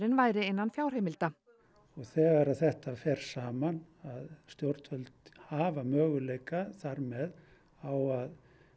væri innan fjárheimilda og þegar að þetta fer saman að stjórnvöld hafa möguleika þar með á að